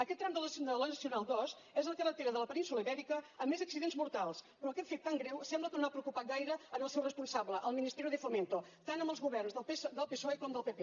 aquest tram de la nacional ii és la carretera de la península ibèrica amb més accidents mortals però aquest fet tan greu sembla que no ha preocupat gaire el seu responsable el ministerio de fomento tant amb els governs del psoe com del pp